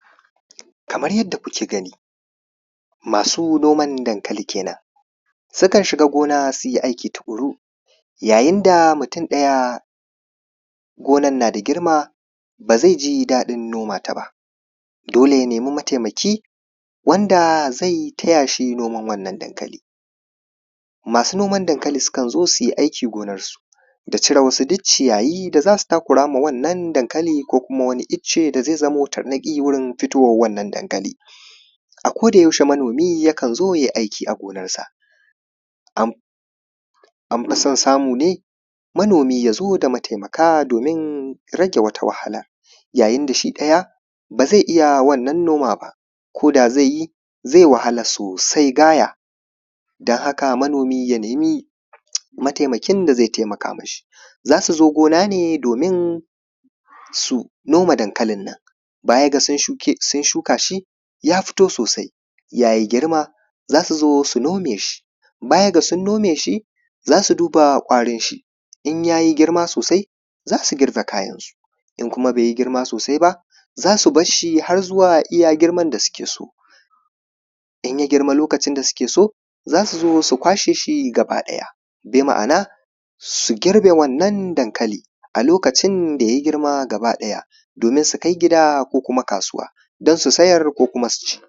kamar yadda kuke gani masu noman dankali kenan sukan shiga gona su yi aiki tuƙuru yayin da mutum ɗaya gonan na da girma ba zaI ji daɗin noma ta ba dole ya nemi mataimaki wanda zai taya shi noman wannan dankali masu noman dankali sukan zo su yi aiki gonarsu da cire wasu duk ciyayi da za su takura ma wannan dankali ko kuma wani icce da zai zamo tarnaƙi wurin fitowa wannan dankali a koda yaushe manomi yakan zo ya yi aiki a gonarsa an fi son samu ne manomi ya zo da mataimaka domin rage wata wahalar yayin da shi ɗaya ba zai iya wannan noma ba koda zaI yi zai wahala sosai gaya don haka manomi ya nemi mataimakin da zai taimaka mi shi za su zo gona ne domin su nome dankali nan baya ga sun shuka shi ya fito sosai ya yi girma za su zo su nome shi bayan ga sun nome shi za su duba ƙwarin shi in ya yi girma sosai za su girba kayan su in kuma bai yi girma sosai ba za su bar shi har zuwa iya girman da suke so in ya girma lokacin da suke so za su zo su kwashe shi gaba ɗaya bi ma’ana su girbe wannan dankali a lokacin da ya girma gaba ɗaya domin su kai gida ko kuma kasuwa ko su siyar ko kuma su ci